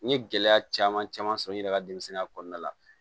N ye gɛlɛya caman caman sɔrɔ n yɛrɛ ka denmisɛnninya kɔnɔna la